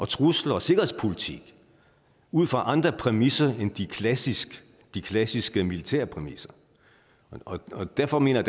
trusler og sikkerhedspolitik ud fra andre præmisser end de klassiske de klassiske militære præmisser og derfor mener